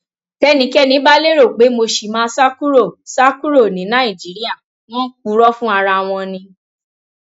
tẹnikẹni bá lérò pé mo ṣì máa sá kúrò sá kúrò ní nàìjíríà wọn ń purọ fún ara wọn ni